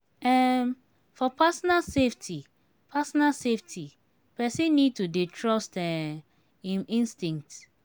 um for personal safety personal safety person need to dey trust um im instinct